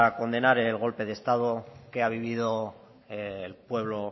condenar el golpe de estado que ha vivido el pueblo